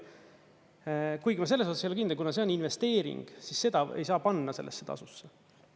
Kuigi ma selles osas ei ole kindel, kuna see on investeering, siis seda ei saa panna sellesse tasusse.